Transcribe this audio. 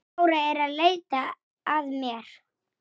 Allra augu á honum.